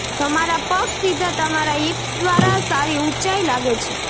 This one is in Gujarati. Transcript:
તમારા પગ સીધા તમારા હિપ્સ દ્વારા સારી ઉંચાઇ લાગે છે